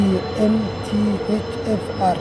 ee MTHFR.